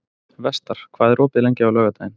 Vestar, hvað er opið lengi á laugardaginn?